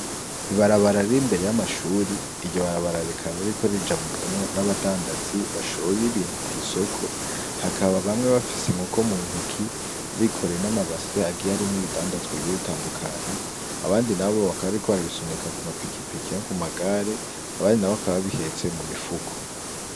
Ibarabara riri imbere y'amashuri, iryo barabara rikaba ririko rijabukamwo n'abandadazi bashoye ibintu kw'isoko, hakaba bamwe bafise inkoko mu ntoki bikoreye n'amabase agiye arimwo ibidandazwa bigiye bitandukanye, abandi nabo bakaba bariko barabisunika ku mapikipiki no ku magare, abandi nabo bakaba babihetse mu mifuko.